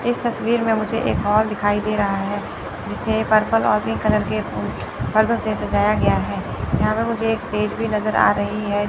इस तस्वीर में मुझे एक हॉल दिखाई दे रहा है इसे पर्पल और पिंक कलर के पर्दो से सजाया गया है। यहां पे मुझे एक स्टेज भी नजर आ रही है।